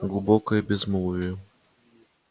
глубокое безмолвие